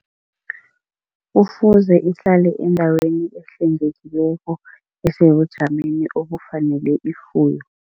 Kufuze ihlale endaweni ehlwengekileko esebujameni obufanele ifuyo.